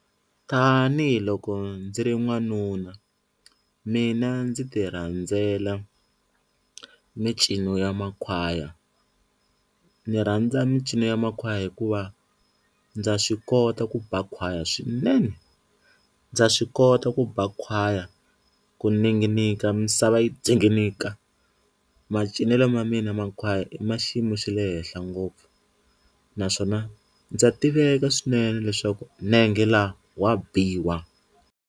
Tanihi loko ndzi ri n'wanuna mina ndzi ti rhandzela mincino ya makhwaya ni rhandza mincino ya makhwaya hikuva ndza swi kota ku ba khwaya swinene, ndza swi kota ku ba khwaya ku ninginika misava yi ndzinginika macinelo ma mina ma makhwaya i ma xiyimo xa le henhla ngopfu naswona ndza tiveka swinene leswaku nenge la wa biwa.